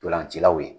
Ntolancilaw ye